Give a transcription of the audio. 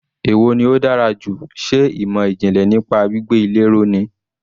Èwo ni ó dára jù, ṣe ìmọ̀ ìjìnlẹ̀ nípa gbígbé ilé ró ni.